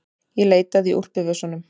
Ég leitaði í úlpuvösunum.